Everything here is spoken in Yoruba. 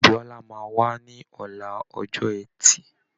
Bíọ́lá máa wá ní ọ̀la ọjọ ẹtì